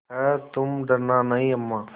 हैतुम डरना नहीं अम्मा